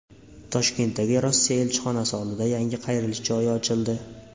Toshkentdagi Rossiya elchixonasi oldida yangi qayrilish joyi ochildi.